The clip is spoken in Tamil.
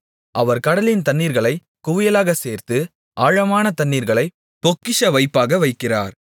அவர் கடலின் தண்ணீர்களைக் குவியலாகச் சேர்த்து ஆழமான தண்ணீர்களைப் பொக்கிஷவைப்பாக வைக்கிறார்